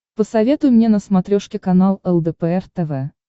посоветуй мне на смотрешке канал лдпр тв